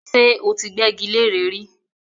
ṣé ó ti gbẹ́gi leré rí?